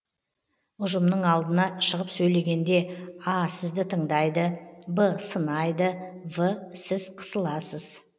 ұжымның алдына шығып сөйлегенде а сізді тыңдайды б сынайды в сіз қысыласыз